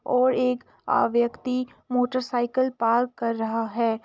और एक अ यक्ति मोटर साइकिल पार्क कर रहा है।